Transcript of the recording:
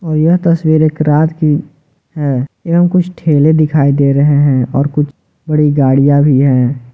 और यह तस्वीर एक रात की है एवं कुछ ठेले दिखाई दे रहे हैं और कुछ बड़ी गाड़ियां भी है।